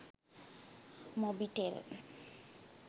mobitel